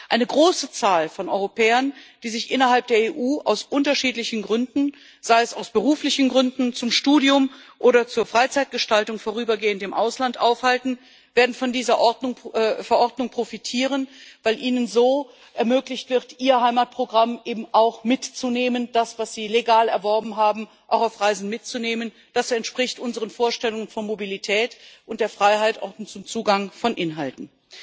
Eine große Zahl von Europäern, die sich innerhalb der EU aus unterschiedlichen Gründen sei es aus beruflichen Gründen, zum Studium oder zur Freizeitgestaltung vorübergehend im Ausland aufhalten, wird von dieser Verordnung profitieren, weil ihnen so ermöglicht wird, ihr Heimatprogramm, das sie legal erworben, auch auf Reisen mitzunehmen. Das entspricht unseren Vorstellungen von Mobilität und der Freiheit auch zum Zugang von Inhalten.